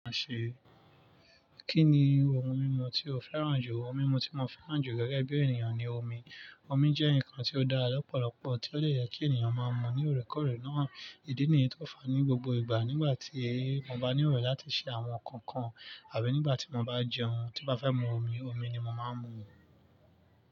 Kí ni ohun mímu tí o fẹ́ràn jù? Ohun mímu tí mo fẹ́ràn jù gẹ́gẹ́ bí ènìyàn ni omi. Omi jẹ́ nǹkan tí ó dára lọ́pọ̀lọpọ̀, tí ó dè yẹ kí ènìyàn máa mú ní òrékòrè náà. Ìdí nìyí tó fàá ní gbogbo ìgbà nígbà tí mo bá níro láti ṣe àwọn nǹkankan àbí nígbà tí mo bá jẹun, tí n bá fẹ́ mú mi omi, omi ni mo máa ń mú.